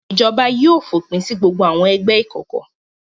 Ìjọba yóò fòpin sí gbogbo àwọn ẹgbẹ́ ìkọ̀kọ̀.